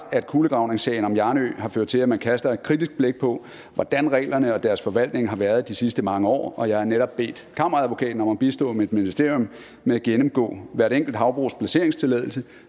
at kulegravningssagen om hjarnø havbrug har ført til at man kaster et kritisk blik på hvordan reglerne og deres forvaltning har været i de sidste mange år og jeg har netop bedt kammeradvokaten om at bistå mit ministerium med at gennemgå hvert enkelt havbrugs placeringstilladelse